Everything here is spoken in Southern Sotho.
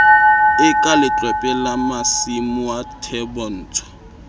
e ka letlwepe la masumuathebotsho